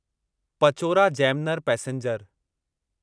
Pachora Jamner passenger